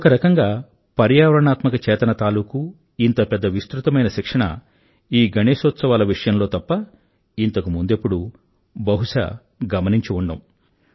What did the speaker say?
ఒకరకంగా పర్యావరణాత్మక చేతన తాలూకూ ఇంత పెద్ద విస్తృతమైన శిక్షణ ఈ గణేశోత్సవాల సమయంలో తప్ప ఇంతకు ముందెప్పుడూ బహుశా గమనించి ఉండం